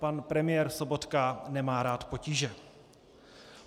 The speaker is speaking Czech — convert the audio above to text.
Pan premiér Sobotka nemá rád potíže.